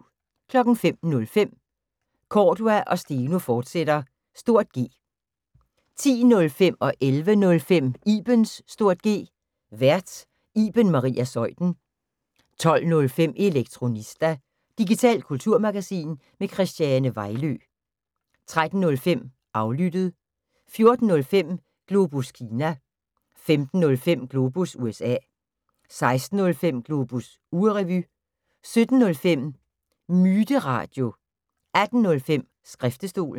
05:05: Cordua & Steno, fortsat (G) 10:05: Ibens (G) Vært: Iben Maria Zeuthen 11:05: Ibens (G) Vært: Iben Maria Zeuthen 12:05: Elektronista – digitalt kulturmagasin med Christiane Vejlø 13:05: Aflyttet 14:05: Globus Kina 15:05: Globus USA 16:05: Globus ugerevy 17:05: Myteradio 18:05: Skriftestolen